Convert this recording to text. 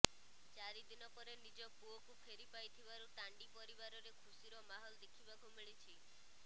ଚାରି ଦିନ ପରେ ନିଜ ପୁଅକୁ ଫେରି ପାଇଥିବାରୁ ତାଣ୍ଡି ପରିବାରରେ ଖୁସିର ମାହୋଲ ଦେଖିବାକୁ ମିଳିଛି